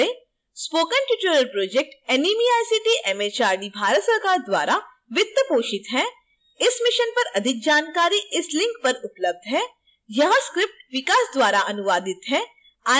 spoken tutorial project NMEICT MHRD Bharat सरकार द्वारा वित्त पोषित है